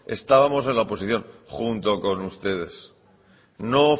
estábamos en la oposición junto con ustedes no